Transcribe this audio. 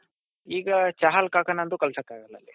ಈಗ ಚಹಲ್ ಕಾಕಾ ನಂತೂ ಕಳಿಸೋಕೆ ಆಗಲ್ಲ ಅಲ್ಲಿ